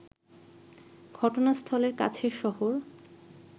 ঘটনাস্থলের কাছের শহর